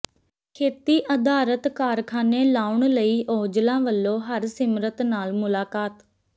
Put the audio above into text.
ਖੇਤੀ ਆਧਾਰਤ ਕਾਰਖਾਨੇ ਲਾਉਣ ਲਈ ਔਜਲਾ ਵੱਲੋਂ ਹਰਸਿਮਰਤ ਨਾਲ ਮੁਲਾਕਾਤ